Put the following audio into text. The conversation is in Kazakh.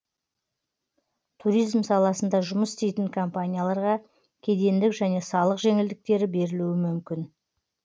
туризм саласында жұмыс істейтін компанияларға кедендік және салық жеңілдіктері берілуі мүмкін